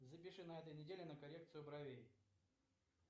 запиши на этой неделе на коррекцию бровей